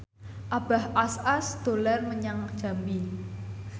Abah Us Us dolan menyang Jambi